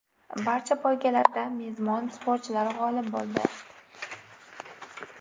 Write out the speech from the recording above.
Barcha poygalarda mezbon sportchilar g‘olib bo‘ldi.